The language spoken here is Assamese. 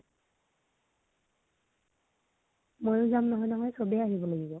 ময়ো যাম নহয় নহয়, সবেই আহিব লাগিব